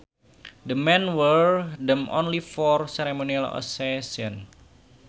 The men wear them only for ceremonial occasions